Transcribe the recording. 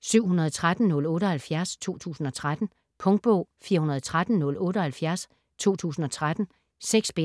713078 2013. Punktbog 413078 2013. 6 bind.